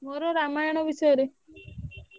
ମୋର ରାମାୟଣ ବିଷୟରେ।